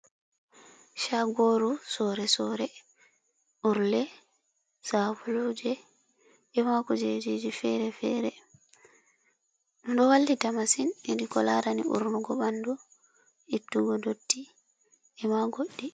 Shagoru sorre-sorre urle, sabuluuje, ema kujeji fere fere, ɗo wallita masin hedi ko larani urnugo ɓandu, ittugo dotti e ma godɗi.